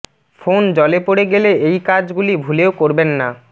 phone জলে পড়ে গেলে এই কাজ গুলি ভুলেও করবেন না